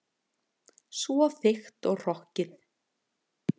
Svo þykkt og hrokkið.